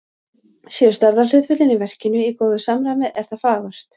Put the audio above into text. Séu stærðarhlutföllin í verkinu í góðu samræmi, er það fagurt.